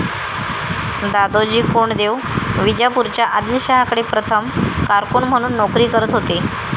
दादोजी कोंडदेव विजापूरच्या आदिलशहाकडे प्रथम कारकून म्हणून नोकरी करत होते